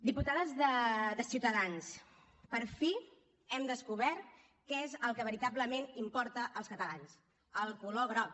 diputades de ciutadans per fi hem descobert què és el que veritablement importa als catalans el color groc